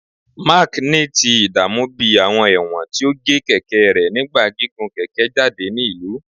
Mark ni ti idaamu bi awọn ẹwọn ti o ge keke rẹ nigba gigun keke jade ni ilu